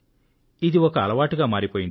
ఇది ఒక అలవాటుగా మారిపోయింది